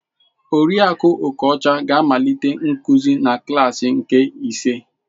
Oriakụ Okocha ga-amalite nkuzi na klaasi nke ise.